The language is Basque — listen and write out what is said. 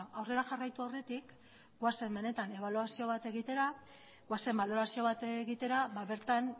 aurrera jarraitu aurretik goazen benetan ebaluazio bat egitera goazen balorazio bat egitera bertan